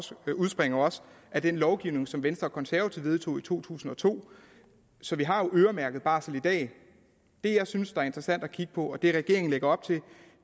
det udspringer også af den lovgivning som venstre konservative vedtog i to tusind og to så vi har jo øremærket barsel i dag det jeg synes er interessant at kigge på og det regeringen lægger op til